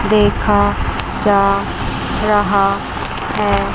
देखा जा रहा है।